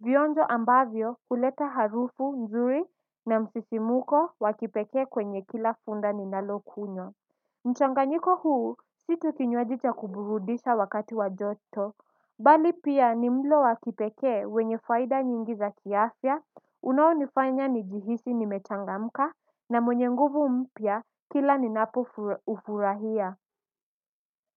Vionjo ambavyo kuleta harufu nzuri na msisimuko wakipekee kwenye kila funda ni nalokunywa mchanganyiko huu si tu kinywaji cha kuburudisha wakati wa joto. Bali pia ni mlo wakipekee wenye faida nyingi za kiafya unaonifanya nijihisi nimechangamka na mwenye nguvu mpya kila ninapoufurahia.